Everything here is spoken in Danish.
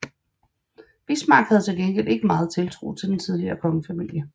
Bismarck havde til gengæld ikke meget tiltro til den tidligere kongefamilie